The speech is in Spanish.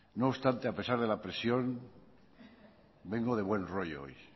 no obstante a pesar de la presión vengo de buen rollo hoy